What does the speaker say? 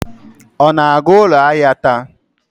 Ọ na-aga ụlọ ahịa taa?